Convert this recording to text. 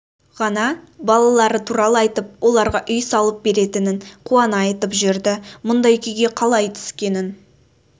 ғана балалары туралы айтып оларға үй салып беретінін қуана айтып жүрді мұндай күйге қалай түскенін